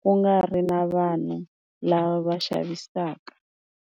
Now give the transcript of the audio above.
ku nga ri na vanhu lava va xavisaka.